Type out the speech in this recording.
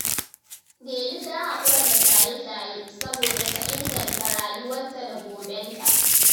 Delu ta hakura da shaye-shaye saboda ta inganta rayuwarta da gobenta